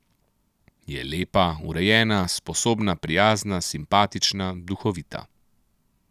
Je lepa, urejena, sposobna, prijazna, simpatična, duhovita.